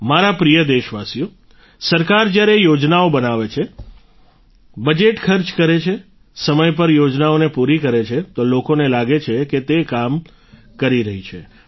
મારા પ્રિય દેશવાસીઓ સરકાર જ્યારે યોજનાઓ બનાવે છે બજેટ ખર્ચ કરે છે સમય પર યોજનાઓને પૂરી કરે છે તો લોકોને લાગે છે કે તે કામ કરી રહી છે